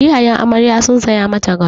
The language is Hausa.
Iyayen amarya sun saya mata gado.